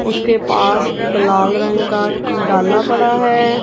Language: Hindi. उसके पास एक लाल रंग का डाला पड़ा है।